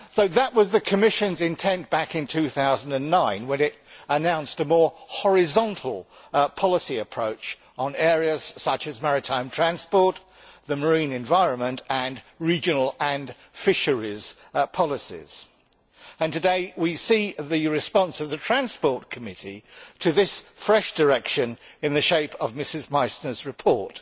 That was the Commission's intent back in 2009 when it announced a more horizontal policy approach on areas such as maritime transport, the marine environment and regional and fisheries policies. Today we see the response of the Committee on Transport and Tourism to this fresh direction, in the shape of Mrs Meissner's report.